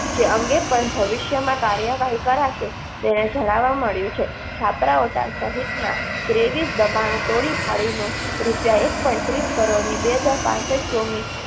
જે અંગે પણ ભવિષ્યમાં કાર્યવાહી કરાશે તે જણાવવા મળ્યું છે. છાપરા ઓઢા સહિતના ત્રેવીસ દબાણ તોડીપાડીનું રૂપિયા એક point ત્રીસ કરોડની બે હજાર પાંસઠ ચોમી